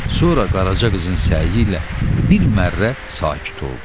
Sonra Qaraca qızın səyi ilə bir mərə sakit oldu.